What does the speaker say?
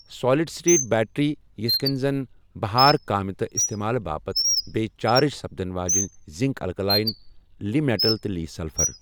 Solid state battery یِتھہٕ كٕنہِ زن بھار كامہِ تہٕ استعمالہٕ باپت بییہ چارج سپدن واجیٚنِۍ زِنك الكلاین ، لی میٹل تہٕ لی سلفر ۔